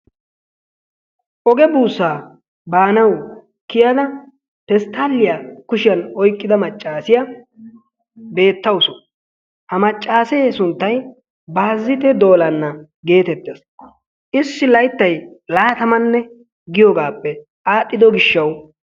oge buussaa banawu kiyada pestaaliyaa kushiyaan oyqqida maccasiyaa beettawus. ha maccasee sunttay baazzitee doola gettettawus. issi layttay laattamane giyoogappe al"ido gishawu